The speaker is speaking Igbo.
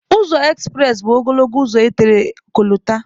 Ụzọ ekspụres bụ ogologo ụzọ etere kolota.